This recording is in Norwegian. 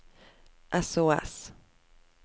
sos